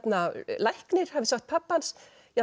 læknir hafi sagt pabba hans